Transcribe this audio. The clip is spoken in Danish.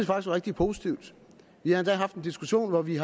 var rigtig positivt vi har endda haft den diskussion om vi